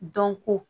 Dɔnko